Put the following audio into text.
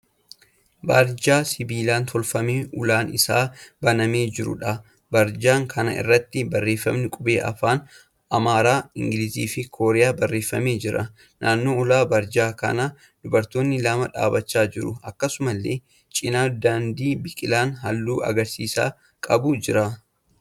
Barjaa sibiilaan tolfamee ulaan isaa banamee jiruudha. Barjaa kana irratti barreeffamni qubee afaan Amaaraa, Ingilizii fi Kooriyaan barreeffamee jira. Naannoo ulaa barjaa kanaa dubartoonni lama dhaabbachaa jiru. Akkasumallee cina daandii biqilaan halluu magariisa qabu jira.